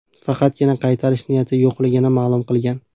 Faqatgina qaytish niyati yo‘qligini ma’lum qilgan.